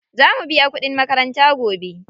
Za mu biya kuɗin makaranta gobe.